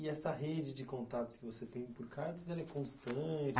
E essa rede de contatos que você tem por cartas, ela é constante?